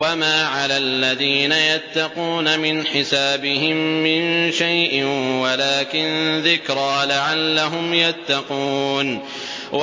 وَمَا عَلَى الَّذِينَ يَتَّقُونَ مِنْ حِسَابِهِم مِّن شَيْءٍ وَلَٰكِن ذِكْرَىٰ لَعَلَّهُمْ يَتَّقُونَ